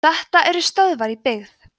þetta eru stöðvar í byggð